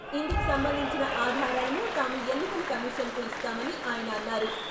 ఇందుకు సంబంధించిన ఆధారాలను తాము ఎన్నికల కమిషన్‌కు ఇస్తామని ఆయన అన్నారు.